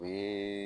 O ye